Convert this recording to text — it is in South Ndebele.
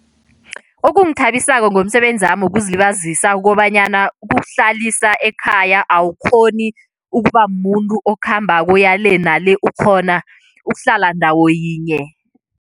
Okungithabisako ngomsebenzami wokuzilibazisa kukobanyana kukuhlalisa ekhaya. Awukghoni ukuba mumuntu okhambako, oya le nale, ukghona ukuhlala ndawo yinye.